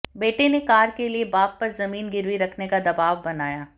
बेटे ने कार के लिए बाप पर जमीन गिरवी रखने का दबाव बनाया